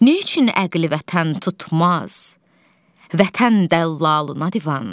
Neyçün əqli vətən tutmaz, vətən dəllalına divan.